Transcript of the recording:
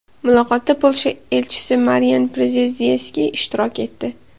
Muloqotda Polsha elchisi Marian Przezdzieski ishtirok etdi.